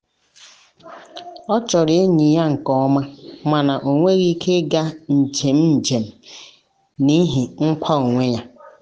ọ chọrọ enyi ya nke ọma mana ọ nweghị ike ịga njem njem n'ihi nkwa onwe ya.